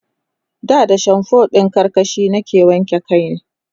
da da shamfo ɗin karkashi nake wanke kai